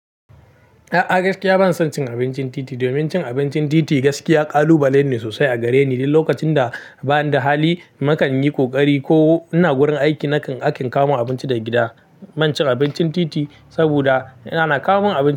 A'a gaskiya ban son cin abincin titi, domin cin abincin titi gaskiya ƙalubale ne sosai a gare ni. Duk lokacin da bani da hali, nakan yi ƙoƙari ko ina gurin aiki nakan aika a kawomin abinci daga gida. Ban cin abincin titi saboda ni ana kawo mun abinci.